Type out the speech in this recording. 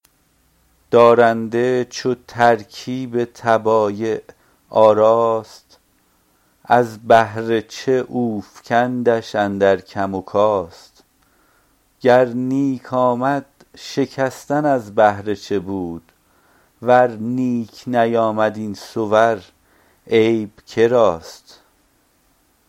دارنده چو ترکیب طبایع آراست از بهر چه اوفکندش اندر کم وکاست گر نیک آمد شکستن از بهر چه بود ور نیک نیامد این صور عیب کراست